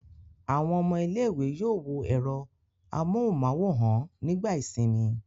Àwọn ọmọ ilé-ìwé yóò wo ẹ̀rọ amóhùmáwòhán nígbà ìsìnmi.